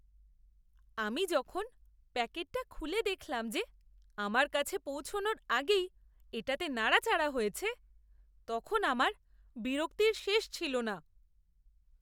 আমি যখন প্যাকেটটা খুলে দেখলাম যে আমার কাছে পৌঁছানোর আগেই এটাতে নাড়াচাড়া হয়েছে, তখন আমার বিরক্তির শেষ ছিল না!